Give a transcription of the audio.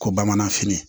Ko bamananfini